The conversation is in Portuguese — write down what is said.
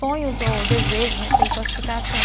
Sonhos ou desejos, não sei classificar assim.